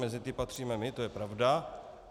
Mezi ty patříme my, to je pravda.